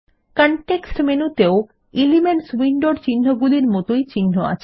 context মেনুতেও elements উইন্ডোর চিন্হগুলির মতই চিন্হ আছে